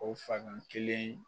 O fan kelen